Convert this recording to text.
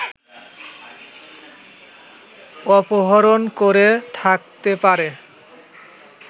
অপহরণ করে থাকতে পারে